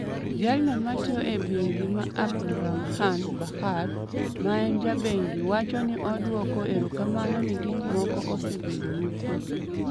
Jalno matiyo e bengi ma Abdulrahman Bakkar, maen jabengi wacho ni odwoko erokamano ni gikmoko osebedo mokue.